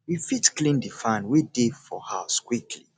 we fit clean di fan wey dey for house weekly